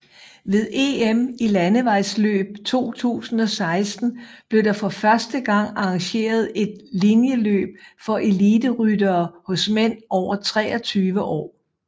Ved EM i landevejsløb 2016 blev der for første gang arrangeret et linjeløb for eliteryttere hos mænd over 23 år